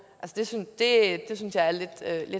det synes jeg er lidt